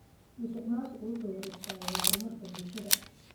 Musuqmaasuqu wuxuu hor istaagaa horumarka bulshada.